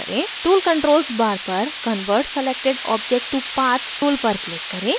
tool controls bar पर convert selected object to path tool पर click करें